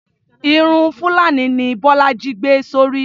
Irun fulani ni bólájí gbé sórí.